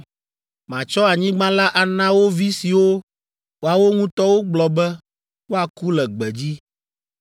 Matsɔ anyigba la ana wo vi siwo woawo ŋutɔ wogblɔ be woaku le gbedzi.